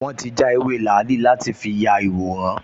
Wọ́n ti já ewé làálì láti fi ya ìyàwòrán